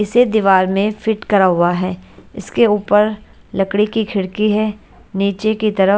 इसे दीवार में फिट करा हुआ है इसके ऊपर लकड़ी की खिड़की है नीचे की तरफ--